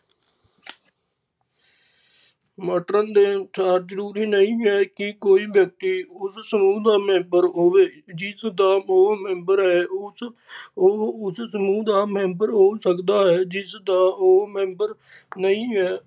Merton ਦੇ ਅਨੁਸਾਰ ਜਰੂਰੀ ਨਈ ਹੈ ਕਿ ਕੋਈ ਵਿਅਕਤੀ ਉਸ ਸਮੂਹ ਦਾ member ਹੋਵੇ ਜਿਸ ਦਾ ਓਹ member ਹੈ ਉਸ ਉਹ ਉਸ ਸਮੂਹ ਦਾ member ਹੋ ਸਕਦਾ ਹੈ ਜਿਸ ਦਾ ਓਹ member ਨਹੀਂ ਹੈ।